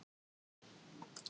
Hversu oft er kosið um forseta?